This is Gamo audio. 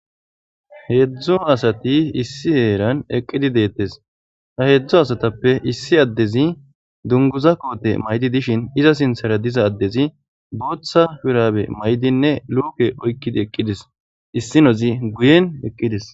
Heedzdzo asati issi eeran eqqidi deettes ha heedzdzu asatappe issi addezi dunguza koote maydi dishin iza sinthara diza addezi booththa firaabe maydinne luuke oykkidi eqqides issi nozi guyen eqqides.